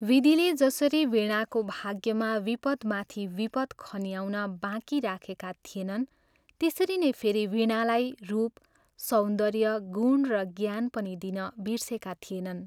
विधिले जसरी वीणाको भाग्यमा विपद्माथि विपद् खन्याउन बाँकी राखेका थिएनन् त्यसरी नै फेरि वीणालाई रूप, सौन्दर्य, गुण र ज्ञान पनि दिन बिर्सेका थिएनन्।